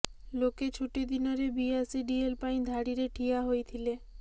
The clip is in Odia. ଲୋକେ ଛୁଟି ଦିନରେ ବି ଆସି ଡିଏଲ ପାଇଁ ଧାଡିରେ ଠିଆ ହୋଇଥିଲେ